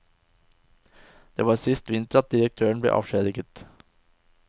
Det var sist vinter at direktøren ble avskjediget.